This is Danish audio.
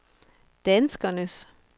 danskernes